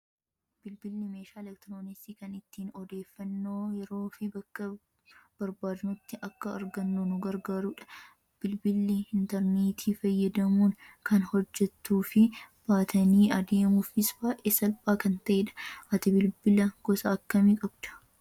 Bilbilli meeshaa elektirooniksii kan ittiin odeeffannoo yeroo fi bakka barbaadnutti akka argannu nu gargaarudha. Bilbilli intarneetii fayyadamuun kan hojjatuu fi baatanii adeemuufis baay'ee salphaa kan ta'edha. Ati bilbila gosa akkamii qabdaa?